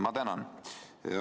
Ma tänan!